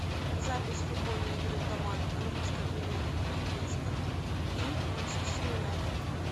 запись футбольной игры команд английской премьер лиги лестер и манчестер юнайтед